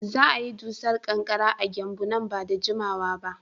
Za a yi dusar ƙanƙara a Gembu nan ba da jimawa ba.